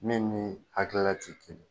Min ni hakilila tɛ kelen